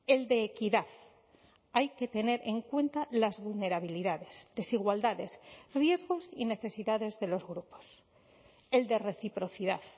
el de equidad hay que tener en cuenta las vulnerabilidades desigualdades riesgos y necesidades de los grupos el de reciprocidad